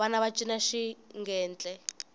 vana va cina xigentle